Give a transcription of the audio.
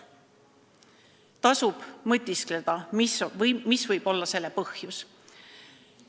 Tasub mõtiskleda, mis võib olla selle põhjus.